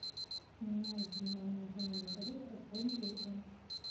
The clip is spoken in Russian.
нужно для моей коллеги пополнить телефон